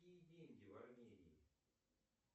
какие деньги в армении